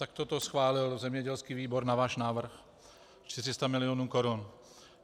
Takto to schválil zemědělský výbor na váš návrh - 400 milionů korun.